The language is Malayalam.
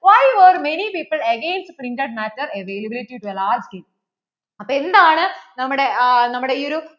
many people against printed matter availability hierarchy അപ്പോൾ എന്താണ് നമ്മടെ ഇ ഒരു